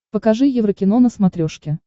покажи еврокино на смотрешке